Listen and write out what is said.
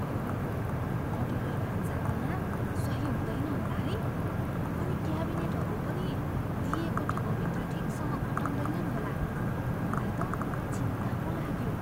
अहो, मोड्युलर भान्साको नाप सही हुँदैन होला है, अनि क्याबिनेटहरू पनि दिइएको ठाउँभित्र ठिकसँग अँटाउदैनन् होला। मलाई त चिन्ता पो लाग्यो।